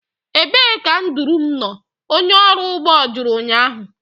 Ebee ka nduru m nọ? onye ọrụ ugbo jụrụ ụnyahụ